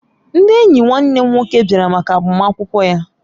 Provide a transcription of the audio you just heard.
Ndị enyi nwanne m nwoke bịara maka agbamakwụkwọ ya